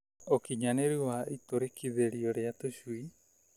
Ukinyanĩru wa itũrĩkithĩrio rĩa tũcui